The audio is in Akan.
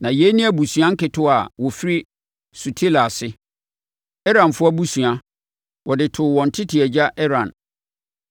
Na yei yɛ abusua nketewa a wɔfiri Sutela ase: Eranfoɔ abusua, wɔde too wɔn tete agya Eran.